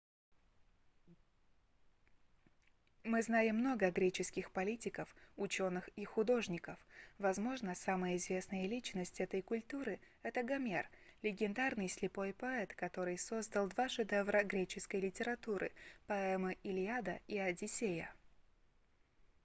мы знаем много греческих политиков учёных и художников возможно самая известная личность этой культуры это гомер легендарный слепой поэт который создал два шедевра греческой литературы поэмы илиада и одиссея